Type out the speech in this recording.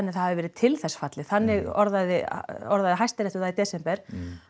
að það hafi verið til þess fallið þannig orðaði orðaði Hæstiréttur það í desember